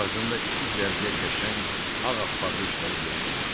Ağzında iki cərgə qəşəng ağappaq dişləri görsəndi.